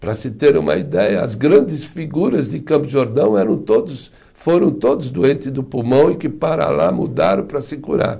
Para se ter uma ideia, as grandes figuras de Campos do Jordão eram todos, foram todos doentes do pulmão e que para lá mudaram para se curar.